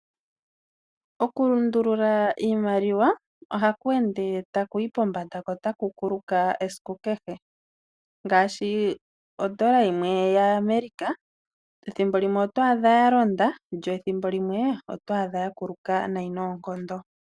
Okulundulula iimaliwa ohaku ende takuyi pombanda, ko otaku kuluka esiku kehe. Ngaashi ondola yimwe yaAmerika, thimbo limwe oto adha yalonda, lyo ethimbo limwe oto adha ya kuluka nayi noonkondo.